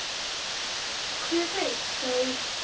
Hver veit sagði hún.